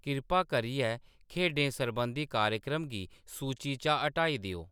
किरपा करियै खेढें सरबंधी कार्यक्रम गी सूची चा हटाई देओ